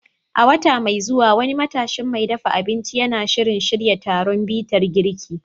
A wata mai zuwa, wani matashin mai dafa abinci yana shirin shirya taron bitar girki.